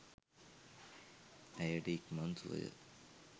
ඇයට ඉක්මන් සුවය